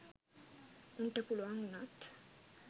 උන්ට පුළුවන් වුනත්.